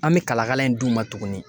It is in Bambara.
An bɛ kalakala in d'u ma tuguni.